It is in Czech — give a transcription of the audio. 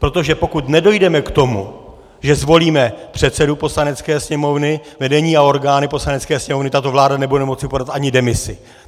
Protože pokud nedojdeme k tomu, že zvolíme předsedu Poslanecké sněmovny, vedení a orgány Poslanecké sněmovny, tato vláda nebude moci podat ani demisi.